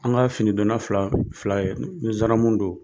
An ka finidonna fila don fila don zandarimu don.